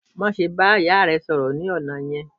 Má ṣe ba ìyà rẹ sọ̀rọ̀ ni ọna yẹn!